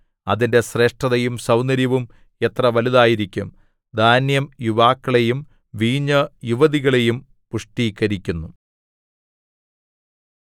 അതിന്റെ ശ്രേഷ്ഠതയും സൗന്ദര്യവും എത്ര വലുതായിരിക്കും ധാന്യം യുവാക്കളെയും വീഞ്ഞ് യുവതികളെയും പുഷ്ടീകരിക്കുന്നു